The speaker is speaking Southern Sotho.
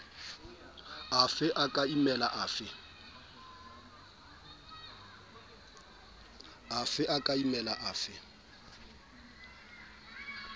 afe a ka imela afe